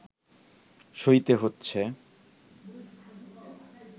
সইতে হচ্ছে